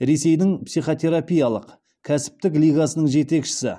ресейдің психотерапиялық кәсіптік лигасының жетекшісі